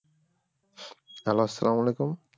Hello আসালাম ওয়ালিকুম।